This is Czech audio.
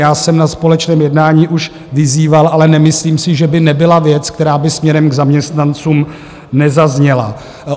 Já jsem na společném jednání už vyzýval, ale nemyslím si, že by nebyla věc, která by směrem k zaměstnancům nezazněla.